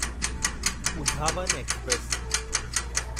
Uzhavan express